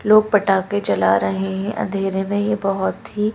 लोग पटाखे चला रहे हैं अंधेरे में ये बहुत ही--